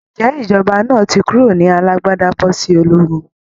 Ǹjé ìjọba náà ti kúrò ní alágbádá bọ́ sí ológun?